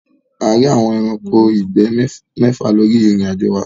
A ríi àwọn ẹranko ìgbẹ́ méfà lóri irin-ajo wa.